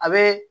A bɛ